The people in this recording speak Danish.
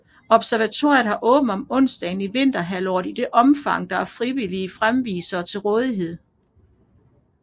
Observatoriet har åbent om onsdagen i vinterhalvåret i det omfang der er frivillige fremvisere til rådighed